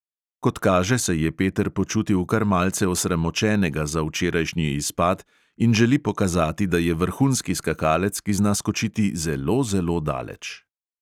Kot kaže, se je peter počutil kar malce osramočenega za včerajšnji izpad in želi pokazati, da je vrhunski skakalec, ki zna skočiti zelo, zelo daleč.